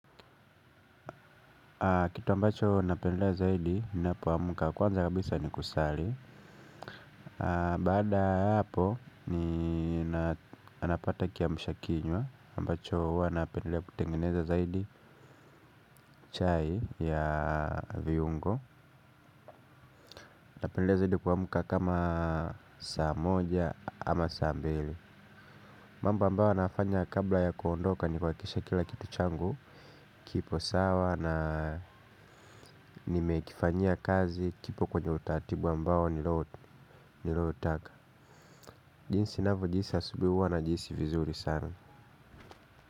Kitu ambacho napendelea zaidi ninapoamka kwanza kabisa ni kusali. Baada ya hapo ninapata kiamsha kinywa ambacho huwa napendelea kutengeneza zaidi chai ya viungo. Napendelea zaidi kuamka kama saa moja ama saa mbili. Mambao ambayo nayafanya kabla ya kuondoka ni kuhakikisha kila kitu changu kipo sawa na nimekifanyia kazi kipo kwenye utaratibu ambao niloutaka, jinsi ninavyojihisi asubuhi huwa najihisi vizuri sana.